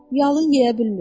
Yalını yeyə bilmir.